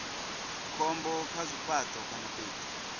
khombo kha zwifhato kana fhethu